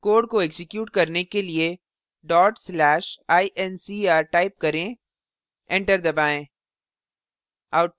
code को execute करने के लिए/incr type करें enter दबाएँ